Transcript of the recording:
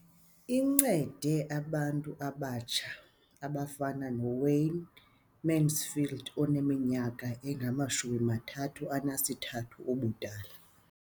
Incede abantu abatsha abafana noWayne Mansfield oneminyaka engama-33 ubudala.